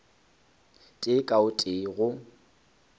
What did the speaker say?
tee ka o tee go